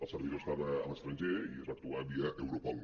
el servidor estava a l’estranger i es va actuar via europol